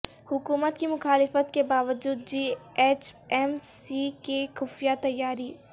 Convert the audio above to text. حکومت کی مخالفت کے باوجود جی ایچ ایم سی کی خفیہ تیاری